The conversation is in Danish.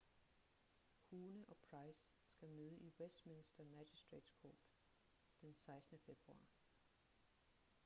huhne og pryce skal møde i westminster magistratetes court den 16 . februar